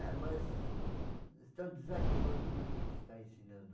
É, mas estão desanimando, viu, quem está ensinando.